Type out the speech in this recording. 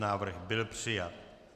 Návrh byl přijat.